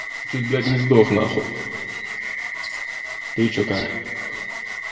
чуть блять не сдох нахуй ты че как